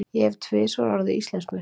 Ég hef tvisvar orðið Íslandsmeistari.